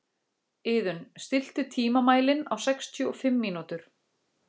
Iðunn, stilltu tímamælinn á sextíu og fimm mínútur.